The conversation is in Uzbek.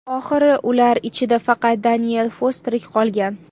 Oxiri ular ichida faqat Daniel Foss tirik qolgan.